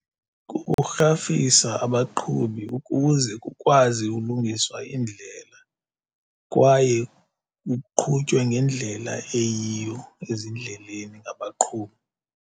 Kukurhafisa abaqhubi ukuze kukwazi ulungiswa iindlela, kwaye kuqhutywe ngendlela eyiyo ezindleleni ngabaqhubi.